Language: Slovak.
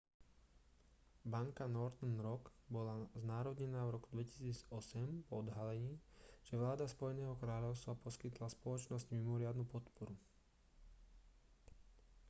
banka northern rock bola znárodnená v roku 2008 po odhalení že vláda spojeného kráľovstva poskytla spoločnosti mimoriadnu podporu